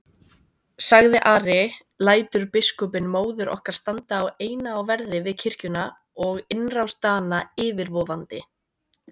sagði Ari,-lætur biskupinn móður okkar standa eina á verði við kirkjuna og innrás Dana yfirvofandi?